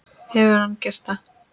Hefur hann gert það?